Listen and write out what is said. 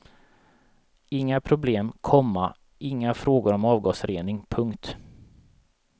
Inga problem, komma inga frågor om avgasrening. punkt